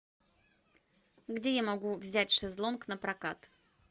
где я могу взять шезлонг на прокат